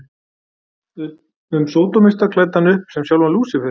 um sódómista klæddan upp sem sjálfan Lúsífer.